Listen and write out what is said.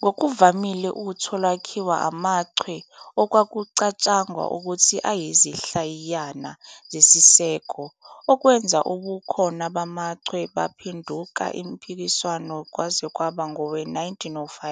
Ngokuvamile utho lwakhiwa amachwe, okwakucatshangwa ukuthi ayizinhlayiyana zesiseko, okwenza ubukhona bamachwe baphenduka impikiswano kwaze kwaba ngowe-1905,